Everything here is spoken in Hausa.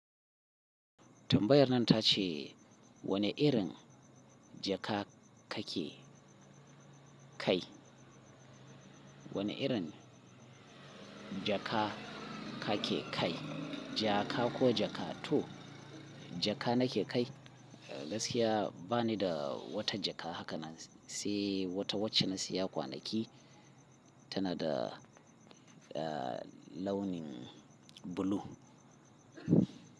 Tambayar nan ta ce wane irin jaka ka ke kai? Wane irin jaka ka ke kai? Jaka ko jakato? Jaka na ke kai. Gaskiya ba ni da wata jaka haka nan, sai wata wacce na saya kwanaki tana da, ah, launin blue.